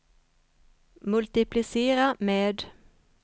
multiplicera med